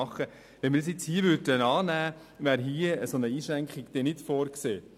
Hier ist eine solche Einschränkung nicht vorgesehen.